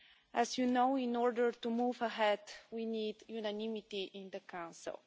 As you know, in order to move ahead, we need unanimity in the Council.